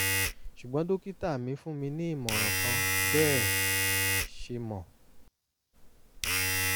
ṣùgbọ́n dókítà mi fún mi ní ìmọ̀ràn kan bẹ́ ẹ ṣe mọ̀